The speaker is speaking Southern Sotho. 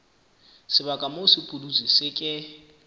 sebaka moo sepudutsi se ke